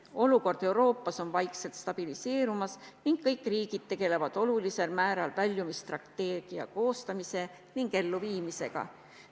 Olukord Euroopas on vaikselt stabiliseerumas ning kõik riigid tegelevad olulisel määral väljumisstrateegia koostamise ning elluviimisega.